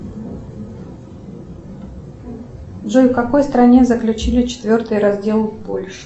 джой в какой стране заключили четвертый раздел польши